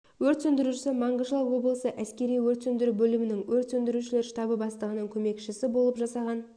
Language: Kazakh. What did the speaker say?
өрт сөндірушісі мангышлақ облысы әскери өрт сөндіру бөлімінің өрт сөндірушілер штабы бастығының көмекшісі болып жасаған